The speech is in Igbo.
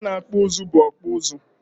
Onye na-akpọ ụzụ bụ ọkpụụzụ.